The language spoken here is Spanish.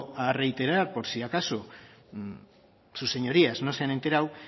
a reiterar por si acaso sus señorías no se han enterado